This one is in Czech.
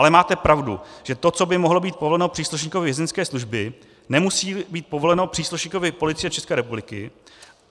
Ale máte pravdu, že to, co by mohlo být povoleno příslušníkovi Vězeňské služby, nemusí být povoleno příslušníkovi Policie České republiky.